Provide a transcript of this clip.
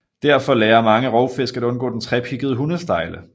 Derfor lærer mange rovfisk at undgå den trepiggede hundestejle